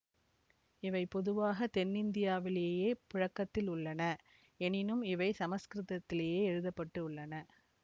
இவை பொதுவாக தென்னிந்தியாவிலேயே புழக்கத்தில் உள்ளன எனினும் இவை சமசுக்கிருதத்திலேயே எழுத பட்டு உள்ளன